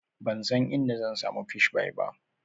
Ban san inda zan samu Fish pie ba.